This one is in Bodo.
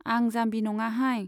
आं जाम्बि नङाहाय।